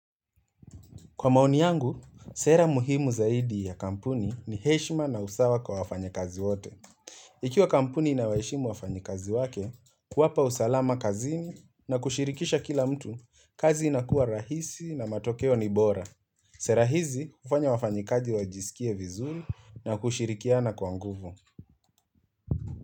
Kwa maoni yangu, sera muhimu zaidi ya kampuni ni heshima na usawa kwa wafanyikazi wote. Ikiwa kampuni inawaheshimu wafanyikazi wake, kuwapa usalama kazini na kushirikisha kila mtu, kazi inakuwa rahisi na matokeo ni bora. Sera hizi hufanya wafanyikaji wajisikie vizuri na kushirikiana kwa nguvu.